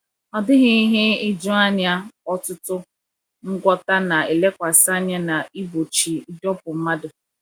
Ọ dịghị ihe ijuanya, ọtụtụ ngwọta na-elekwasị anya na igbochi ịdọkpụ mmadụ.